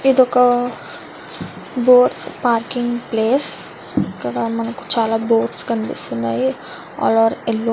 ఇది ఒక boats parking place . ఇక్కడ మనకి చాల బోట్స్ కనిపిస్తున్నాయి. All are yellow --